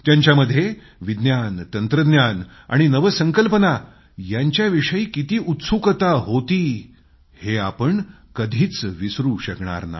त्यांच्यामध्ये विज्ञान तंत्रज्ञान आणि नवसंकल्पना यांच्याविषयी किती उत्सुकता होती हे पाहिलेलं मी कधीच विसरू शकणार नाही